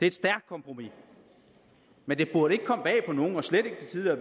et stærkt kompromis men det burde